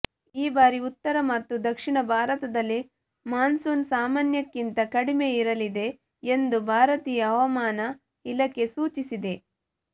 ಈ ಬಾರಿ ಉತ್ತರ ಮತ್ತು ದಕ್ಷಿಣ ಭಾರತದಲ್ಲಿ ಮಾನ್ಸೂನ್ ಸಾಮಾನ್ಯಕ್ಕಿಂತ ಕಡಿಮೆ ಇರಲಿದೆ ಎಂದು ಭಾರತೀಯ ಹವಾಮಾನ ಇಲಾಖೆ ಸೂಚಿಸಿದೆ